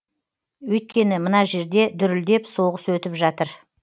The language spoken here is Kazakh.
өйткені мына жерде дүрілдеп соғыс өтіп жатыр